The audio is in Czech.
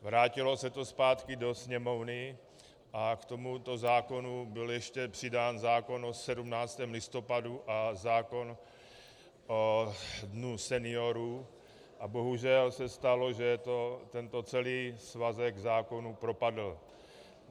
Vrátilo se to zpátky do Sněmovny a k tomuto zákonu byl ještě přidán zákon o 17. listopadu a zákon o Dnu seniorů a bohužel se stalo, že tento celý svazek zákonů propadl.